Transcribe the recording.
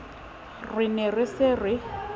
re ne re se re